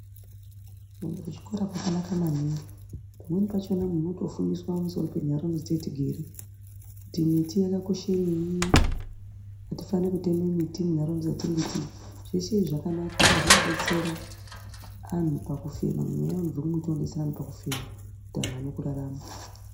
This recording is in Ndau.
Kuende kuchikora kwakanaka maningi, pamweni pachona munhu unotofundiswe pamsoro pentaraunda dzatigere, kuti miti yakakoshereyi, hatifanire kutema miti muntaraunda dzatigere ,zveshe izvi zvakanaka zvinotidetsera anhu pakufema mweya unotonderedzena pakufema vanhu vawane kurarama.